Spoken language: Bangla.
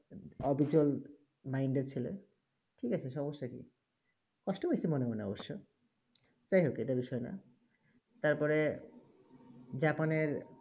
অবিচল mind এ ছেলে ঠিক আছে সমস্যা কি কষ্ট হয়েছে মনে মনে অবশ্য যাই হোক এইটা বিষয়ে না তার পরে জাপানের